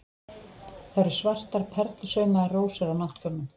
Það eru svartar perlusaumaðar rósir á náttkjólnum.